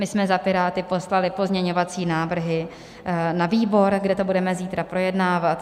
My jsme za Piráty poslali pozměňovací návrhy na výbor, kde to budeme zítra projednávat.